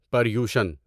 پریوشن